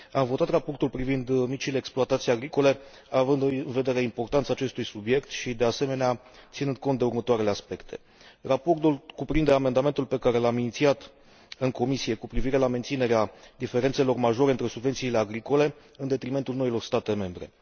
Am votat raportul privind micile exploatații agricole având în vedere importanța acestui subiect și, de asemenea, ținând cont de următoarele aspecte raportul cuprinde amendamentul pe care l am inițiat în comisie cu privire la menținerea diferențelor majore între subvențiile agricole, în detrimentul noilor state membre.